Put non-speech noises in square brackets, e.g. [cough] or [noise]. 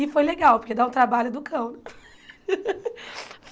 E foi legal, porque dá o trabalho do cão. [laughs]